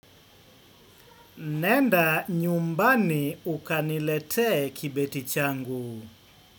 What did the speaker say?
Nenda nyumbani ukaniletee kibeti changu.